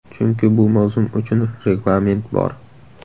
Chunki bu mavsum uchun reglament bor.